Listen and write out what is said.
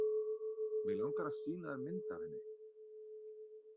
Mig langar að sýna þér mynd af henni.